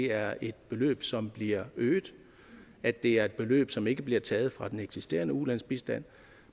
er et beløb som bliver øget at det er et beløb som ikke bliver taget fra den eksisterende ulandsbistand